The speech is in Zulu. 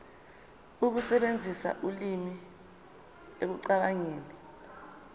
ukusebenzisa ulimi ekucabangeni